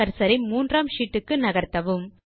cursor ஐ மூன்றாம் sheet க்கு நகர்த்தவும்